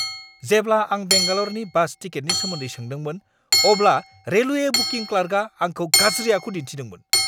जेब्ला आं बेंगालरनि बास टिकेटनि सोमोन्दै सोंदोंमोन अब्ला रेलवे बुकिं क्लार्कआ आंखौ गाज्रि आखु दिनथिदोंमोन।